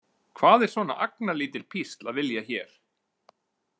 Hvað er svona agnarlítil písl að vilja hér?